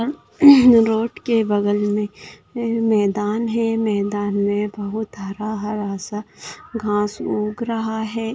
Road के बगल में मैदान है मैदान मे बहुत हरा-हरा सा घास उग रहा है।